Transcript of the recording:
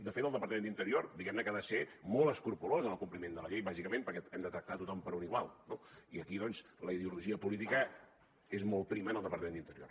de fet el departament d’interior diguem ne que ha de ser molt escrupolós en el compliment de la llei bàsicament perquè hem de tractar tothom per un igual no i aquí doncs la ideologia política és molt prima en el departament d’interior